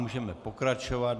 Můžeme pokračovat.